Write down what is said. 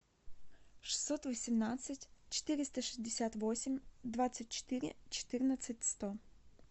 шестьсот восемнадцать четыреста шестьдесят восемь двадцать четыре четырнадцать сто